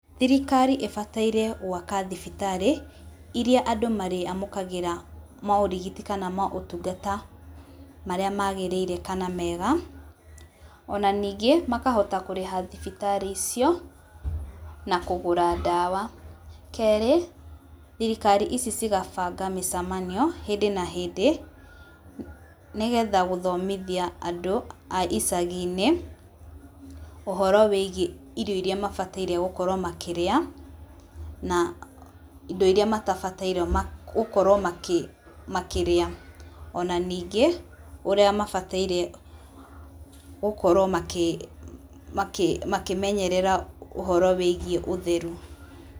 Thirikari ĩbataire gwaka thibitarĩ iria andũ marĩamũkagĩra morigiti kana motungata marĩa magĩrĩire kana mega, ona ningĩ makahota kũrĩha thibitarĩ icio na kũgũra ndawa. Kerĩ, thirikari ici cigabanga mĩcemanio hĩndĩ na hĩndĩ nĩ getha gũthomithia andũ a icagi-inĩ ũhoro wĩgiĩ irio iria mabataire gũkorwo makĩrĩa na indo iria matabataire gũkorwo makĩrĩa. Ona ningĩ ũrĩa mabataire gũkorwo makĩmenyerera ũhoro wĩgiĩ utheru.